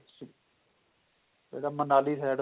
ਕਦੇ ਮਨਾਲੀ side